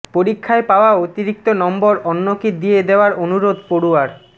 পরীক্ষায় পাওয়া অতিরিক্ত নম্বর অন্যকে দিয়ে দেওয়ার অনুরোধ পড়ুয়ার